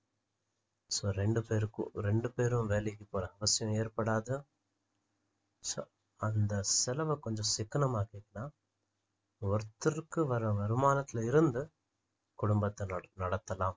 so ரெண்டு பேருக்கும் ரெண்டு பேரும் வேலைக்கு போற அவசியம் ஏற்படாது so அந்த செலவை கொஞ்சம் சிக்கனம் ஆக்கிட்டீங்கன்னா ஒருத்தருக்கு வர்ற வருமானத்துல இருந்து குடும்பத்தை நடத்தலாம்